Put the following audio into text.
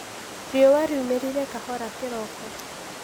riua liumĩrire kahora kĩroko